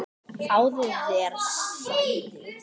Fáðu þér sæti.